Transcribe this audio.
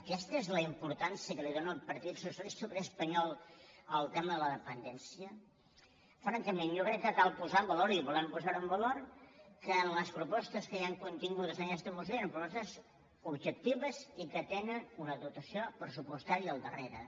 aquesta és la importància que li dóna el partit socialista obrer espanyol al tema de la dependència francament jo crec que cal posar en valor i volem posar ho en valor que en les propostes que hi han contingudes en aquesta moció són propostes objectives i que tenen una dotació pressupostària al darrere